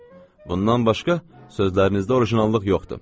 Bundan başqa, sözlərinizdə orijinallıq yoxdur.